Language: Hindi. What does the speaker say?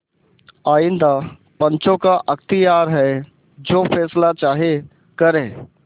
आइंदा पंचों का अख्तियार है जो फैसला चाहें करें